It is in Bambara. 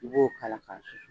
U b'o k'a la ka susu